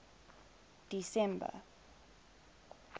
december